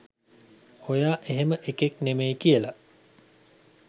ඔයා එහෙම එකෙක් නෙමෙයි කියල?